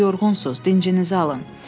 Yorğunsuz, dincinizi alın.